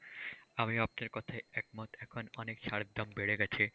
আমিও আপনার কথায় একমত এখন অনেক সারের দাম বেড়ে গেছে।